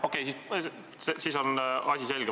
Okei, siis on asi selge.